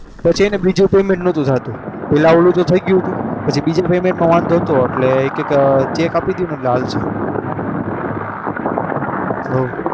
પછી હે ને બીજું payment નતુ થાતું પહેલા પેલું થઇ ગયું હતું પછી બીજા payment માં વાંધો હતો એટલે એ કહે કે cheque આપી દયો એટલે હાલશે.